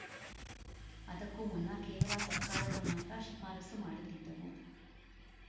ಅದಕ್ಕೂ ಮುನ್ನ ಕೇವಲ ಸರ್ಕಾರಗಳು ಮಾತ್ರ ಶಿಫಾರಸು ಮಾಡುತ್ತಿದ್ದವು